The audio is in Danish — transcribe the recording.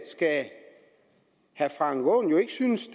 skal herre frank aaen jo ikke synes